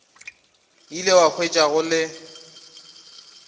ile a hwetša go le